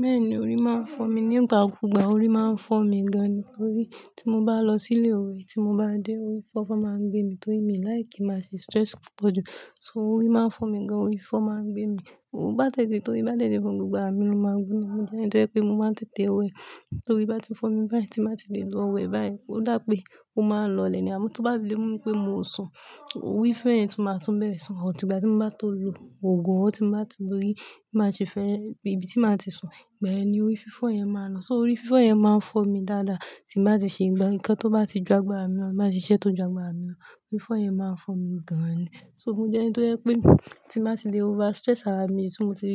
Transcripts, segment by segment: Bẹ́ẹ̀nì, orí máa ń fọ́ mi. Ní ìgbà kúùgbà orí máa ń fọ́ mi gan-an ni. Orí, tí mo bá lọ sí ilé ìwẹ̀, tí mo bá dé, orí fọ́fọ́ máa ń gbé mi torí mi like kii máa ṣe stress púpọ̀ jù. So orí máa ń fọ́ mi gan-an, orí fifọ́ máa ń gbé mi. N bá tèè, torí bá tẹ́tẹ́ fún gbogbo ara mi ló máa ń gbóná. Mo jẹ́ ẹni tó jẹ́ pé mo máa ń tètè wẹ̀ tórí bá ti ń fọ́ mi báyìí tí n bá ti lè lọ wẹ̀ báyìí. Ó dà pé ó máa ń lọọlẹ̀ ni. Àmọ́ tó bá le mú mi pé mo sùn, orí fífọ́ yẹn tún máa tún bẹ́rẹ́, so, until ìgbà tí mo bá tó lo òògùn, or tí mo bá ti rí bí màá ṣe fẹ́ bí ibi tí màá ti sùn, ìgbà yẹn ni orí fífọ́ yẹn máa ń lọ. So orí fífọ́ yẹn máa ń fọ́ mi dáadáa tí n bá ti ṣe nǹkan tó bá ti ju agbára mi lọ, tí n bá ṣiṣẹ́ tó ju agbára mi lọ, orí fífọ́ yẹn máa ń fọ́ mi gan-an ni. Obìnrin jẹ́ ẹni tó jẹ́ pé, tí n bá ti le over-stress ara mi, tí mo ti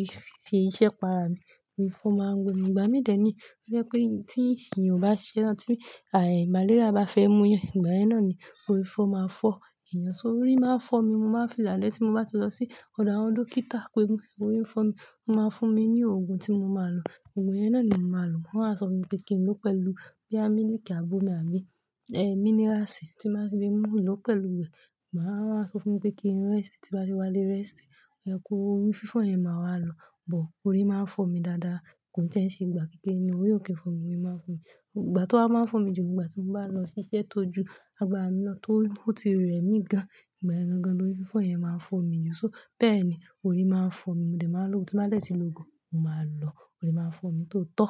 ṣe iṣẹ́ para mi, ni orí fífọ́ máa ń gbé mi. Ìgbà míì dẹ̀ nìyí, tó jẹ́ pé, tí èèyàn ò bá ṣiṣẹ́, tí malaria bá fẹ́ mú'yàn, ìgbà yẹn náà ni orí fífọ́ máa ń fọ́ èèyàn. So orí máa ń fọ́ mi, mo máa ń fi làlẹ́ tí mo bá ti lọ sí ọ̀dọ̀ àwọn dókítà pé orí ń fọ́ mi. Wọ́n máa ń fún mi ní òògùn tí mo máa lò. Òògùn yẹn náà ni mo máa lò. Wọ́n á sọ fún mi pé kí n lòó pẹ̀lú bóyá mílíìkì àb'ómi àbí míníráàsì tí màá fi le mú lòó pẹ̀lú rẹ̀. Màá, wọ́n á sọ fún mi pé kí n rest, tí n bá le wálé rest. Ẹ̀kú orí fífọ́ yẹn máa wá lọ. But orí máa ń fọ́ mi dáadáa. Kò tiẹ̀ ń ṣe gbogbo ìgbà bẹ́ẹ̀ ni orí ò kí n fọ́ mi, orí máa ń fọ́ mi. Ìgbà tó wá máa ń fọ́ mi jù ni ìgbà tí mo bá lọ ṣiṣẹ́ tó ju agbára mi náà, tó ó ti rẹ̀ mí gan-an. Ìgbà yẹn gangan lorí fífọ́ yẹn máa ń fọ́ mi jù. So, bẹ́ẹ̀ni, orí máa ń fọ́ mi. Mo dẹ̀ máa ń lòògùn, tí n bá dẹ̀ tí lo òògùn, ó máa lọ. Orí máa ń fọ́ mi tó tọ́